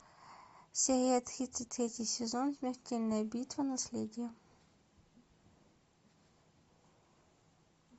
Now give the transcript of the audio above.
серия тридцать третий сезон смертельная битва наследие